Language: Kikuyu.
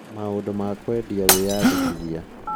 " Maũndũ ma kwendia wĩandĩkithia.